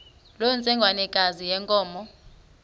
loo ntsengwanekazi yenkomo